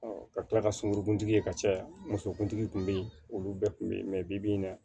ka tila ka sunkuru ye ka caya musokuntigi kun be yen olu bɛɛ kun be ye bi-bi in na